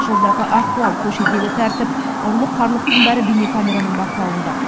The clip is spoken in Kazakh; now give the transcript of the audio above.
жолдағы ахуал көшедегі тәртіп ұрлық қарлықтың бәрі бейнекамераның бақылауында